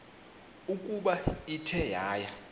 ukuba ithe yaya